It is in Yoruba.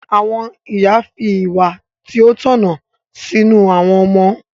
Àwọn ìyá fi ìwà tí ó tọ̀nà sínú àwọn ọmọ.